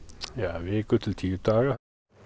viku til tíu daga